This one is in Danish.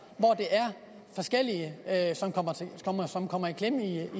hvor forskellige kommer i klemme i